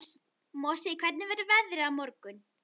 Mosi, hvernig verður veðrið á morgun?